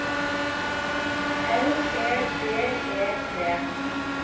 L E D E T